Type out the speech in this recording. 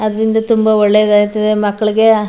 ಅದರಿಂದ ತುಂಬಾ ಒಳ್ಳೇದ್ ಆಯ್ತದೆ ಮಕ್ಕಳಿಗೆ --